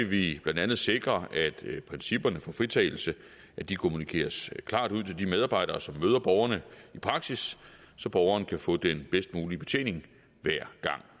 vi blandt andet sikre at principperne for fritagelse kommunikeres klart ud til de medarbejdere som møder borgerne i praksis så borgeren kan få den bedst mulige betjening hver gang